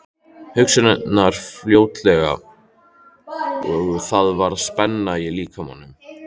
Hugsanirnar flóttalegar og það var spenna í líkamanum.